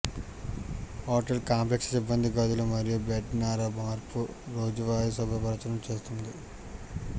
hotel complex సిబ్బంది గదులు మరియు బెడ్ నార మార్పు రోజువారీ శుభ్రపరచడం చేస్తుంది